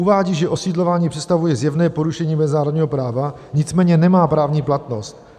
Uvádí, že osídlování představuje zjevné porušení mezinárodního práva, nicméně nemá právní platnost.